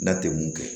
Da ten kun